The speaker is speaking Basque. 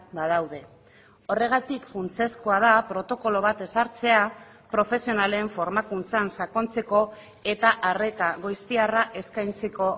badaude horregatik funtsezkoa da protokolo bat ezartzea profesionalen formakuntzan sakontzeko eta arreta goiztiarra eskaintzeko